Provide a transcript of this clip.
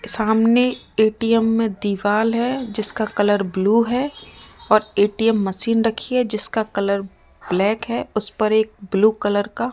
सामने ए_टी_एम में दीवाल है जिसका कलर ब्लू है और ए_टी_एम मशीन रखि है जिसका कलर ब्लैक है उस पर एक ब्लू कलर का --